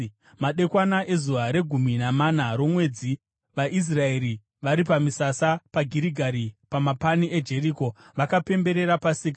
Madekwana ezuva regumi namana romwedzi, vaIsraeri vari pamisasa paGirigari pamapani eJeriko, vakapemberera Pasika.